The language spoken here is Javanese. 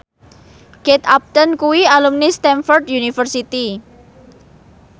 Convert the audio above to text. Kate Upton kuwi alumni Stamford University